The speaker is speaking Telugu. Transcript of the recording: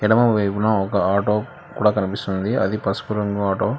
ఎడమవైపున ఒక ఆటో కూడా కనిపిస్తున్నది అది పసుపు రంగు ఆటో